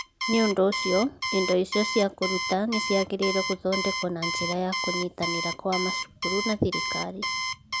Nĩ ũndũ ũcio, indo icio cia kũruta nĩ ciagĩrĩirũo gũthondekwo na njĩra ya kũnyitanĩra gwa macukuru na thirikari.